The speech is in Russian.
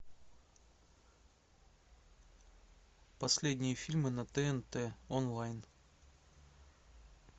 последние фильмы на тнт онлайн